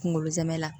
Kunkolo zɛmɛ la